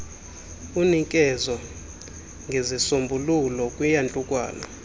unikeze ngezisombululo kwiyantlukwano